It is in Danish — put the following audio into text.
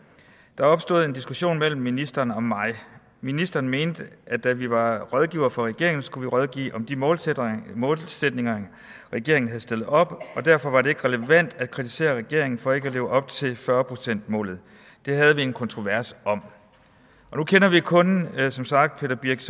der opstod en diskussion mellem ministeren og mig ministeren mente at da vi var rådgiver for regeringen skulle vi rådgive om de målsætninger målsætninger regeringen havde stillet op og derfor var det ikke relevant at kritisere regeringen for ikke at leve op til fyrre procent målet det havde vi en kontrovers om nu kender vi kun som sagt peter birch